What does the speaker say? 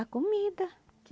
A comida.